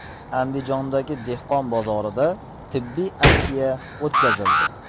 Andijondagi dehqon bozorida tibbiy aksiya o‘tkazildi.